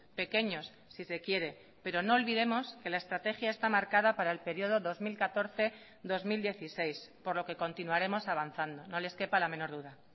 pequeños si se quiere pero no olvidemos que la estrategia está marcada para el período dos mil catorce dos mil dieciséis por lo que continuaremos avanzando no les quepa la menor duda